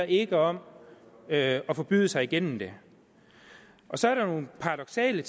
ikke om at forbyde sig igennem det så er der nogle paradoksale